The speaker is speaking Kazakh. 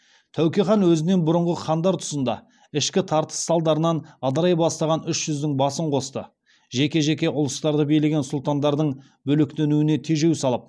тәуке хан өзінен бұрынғы хандар тұсында ішкі тартыс салдарынан ыдырай бастаған үш жүздің басын қосты жеке жеке ұлыстарды билеген сұлтандардың бөлектенуіне тежеу салып